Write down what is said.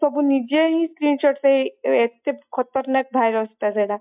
ସେ ସବୁ ନିଜେ ହିଁ screenshot ସେଇ ଏତେ ଖତରନାଖ virus ଟା ସେଇଟା